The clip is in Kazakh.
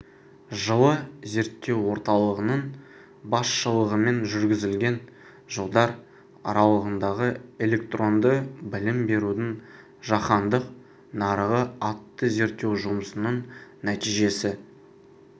жылы зерттеу орталығының басшылығымен жүргізілген жылдар аралығындағы электронды білім берудің жаһандық нарығы атты зерттеу жұмысының нәтижесі